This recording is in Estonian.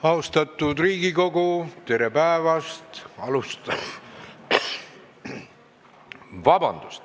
Austatud Riigikogu, tere päevast!